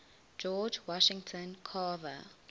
george washington carver